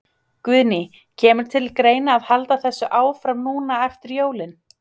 Guðný: Kemur til greina að halda þessu áfram núna eftir jólin?